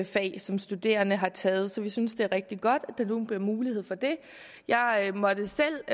fag som studerende har taget så vi synes det er rigtig godt at der nu bliver mulighed for det jeg måtte selv